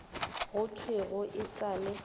go thwego e sa le